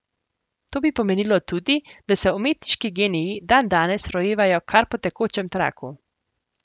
To bi pomenilo tudi, da se umetniški geniji dandanes rojevajo kar po tekočem traku.